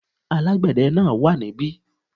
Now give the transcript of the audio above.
Alágbède náà wà ní bí